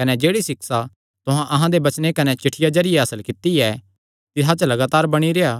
कने जेह्ड़ी सिक्षा तुहां अहां दे वचने कने चिठ्ठिया जरिये हासल कित्ती ऐ तिसा च लगातार बणी रेह्आ